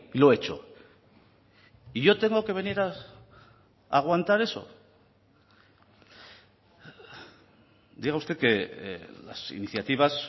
lo he hecho y yo tengo que venir a aguantar eso diga usted que las iniciativas